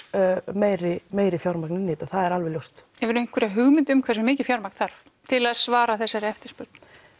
meira meira fjármagn inn í þetta það er ljóst hefurðu einhverja hugmynd um hversu mikið fjármagn þarf til að svara þessari eftirspurn